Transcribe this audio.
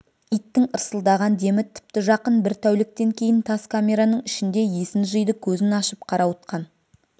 иттің ырсылдаған демі тіпті жақын бір тәуліктен кейін тас камераның ішінде есін жиды көзін ашып қарауытқан